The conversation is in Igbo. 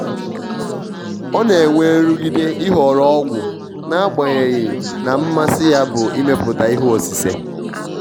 ọ na-enwe nrụgide ịhọrọ ọgwụn'agbanyeghi na mmasi ya bụ imepụta ihe osise.